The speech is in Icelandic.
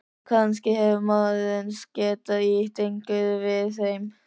Kannski hefur maðurinn getað ýtt eitthvað við þeim.